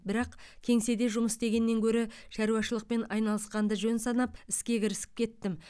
бірақ кеңседе жұмыс істегеннен гөрі шаруашылықпен айналысқанды жөн санап іске кірісіп кеттім